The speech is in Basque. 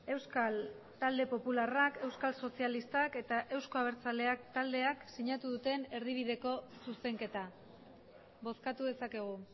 euskal talde popularrak euskal sozialistak eta euzko abertzaleak taldeak sinatu duten erdibideko zuzenketa bozkatu dezakegu